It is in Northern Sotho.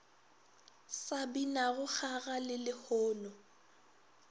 sa binago kgaga le lehono